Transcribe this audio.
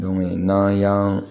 n'an y'an